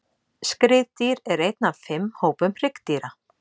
Skriðdýr er einn af fimm hópum hryggdýra.